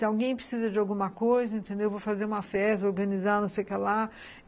Se alguém precisa de alguma coisa, vou fazer uma festa, organizar, não sei o que lá.